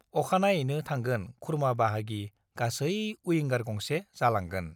अखानायैनो थांगोन-खुरमा बाहागि गासै उइंगार गंसे जालांगोन ।